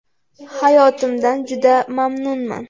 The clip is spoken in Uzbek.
Hayotimdan juda mamnunman.